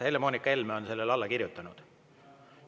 Helle-Moonika Helme on sellele alla kirjutanud.